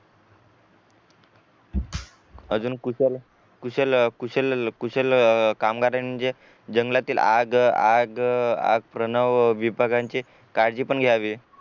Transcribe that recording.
अजून पुढच्या कुशल कुशल कामगार म्हणजे जंगलातील आग आग आग प्रणव विभागांचे काळजी पण घ्यावी